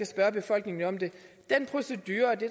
spørge befolkningen om det den procedure det